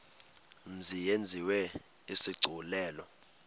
mzi yenziwe isigculelo